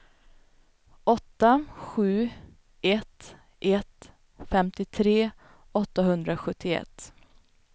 åtta sju ett ett femtiotre åttahundrasjuttioett